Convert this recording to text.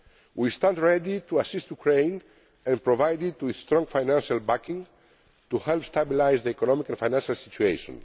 areas. We stand ready to assist Ukraine and provide it with strong financial backing to help stabilise the economic and financial situation.